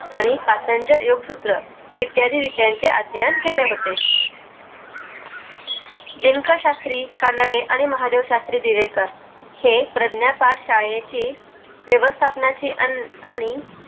आणि पतंजर योग्यसूत्र इत्यादी विषयाची अध्ययन केले होते दिनकर शाश्त्री कानडे आणि महादेव शाश्त्री दिवेकर हे प्राज्ञपाठ शाळेची व्यवस्थापनाची आणि आणि